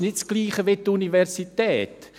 Das MAZ ist nicht das Gleiche wie die Universität.